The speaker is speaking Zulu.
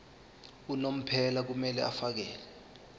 unomphela kumele afakele